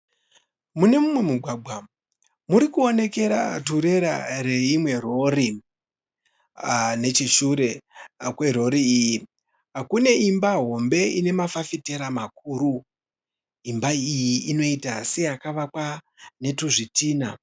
Mune umwe mugwagwa murikuonekera turerera reimwe rori. Necheshure kwerori iyi kune imba hombe ine mafafitera makuru imba iyi inoita seyakavakwa netuzvitinha.